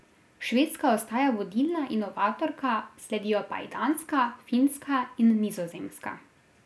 Švedska ostaja vodilna inovatorka, sledijo pa ji Danska, Finska in Nizozemska.